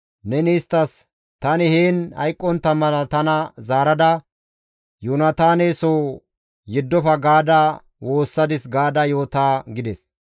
neni isttas, ‹Tani heen hayqqontta mala tana zaarada Yoonataane soo yeddofa gaada woossadis› gaada yoota» gides.